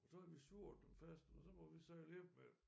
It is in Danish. Og så havde vi surret dem fast og så måtte vi sejle hjem med dem